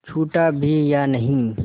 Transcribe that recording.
छूटा भी या नहीं